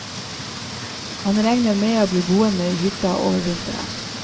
Han regner med å bli boende i hytta over vinteren.